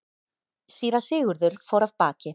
Síra Sigurður fór af baki.